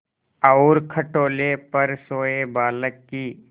और खटोले पर सोए बालक की